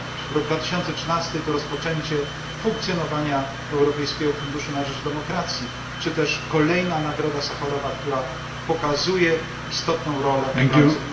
Rok 2013 to rozpoczęcie funkcjonowania Europejskiego Funduszu na Rzecz Demokracji, czy też kolejna nagroda Sacharowa, która pokazuje istotną rolę praw człowieka.